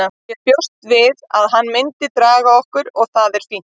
Ég bjóst við að hann myndi draga okkur og það er fínt.